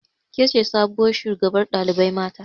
Kece sabuwar shugabar ɗalibai mata